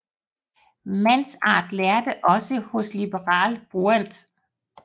Mansart lærte også hos Libéral Bruant